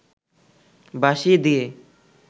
বাঁশি দিয়ে